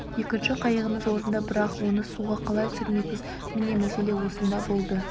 екінші қайығымыз орнында бірақ оны суға қалай түсірмекпіз міне мәселе осында болды